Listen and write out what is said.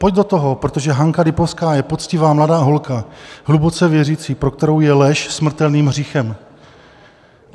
Pojď do toho, protože Hanka Lipovská je poctivá mladá holka, hluboce věřící, pro kterou je lež smrtelným hříchem.